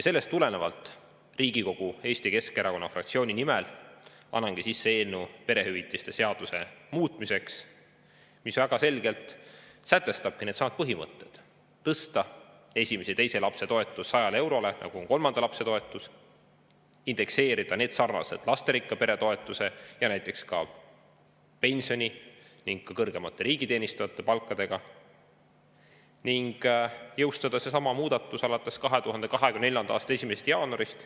Sellest tulenevalt annangi Riigikogu Eesti Keskerakonna fraktsiooni nimel sisse eelnõu perehüvitiste seaduse muutmiseks, mis väga selgelt sätestabki needsamad põhimõtted: tõsta esimese ja teise lapse toetus 100 eurole, nagu on kolmanda lapse toetus, indekseerida neid sarnaselt lasterikka pere toetuse ja näiteks pensioni ning ka kõrgemate riigiteenistujate palkadega ning jõustada seesama muudatus alates 2024. aasta 1. jaanuarist.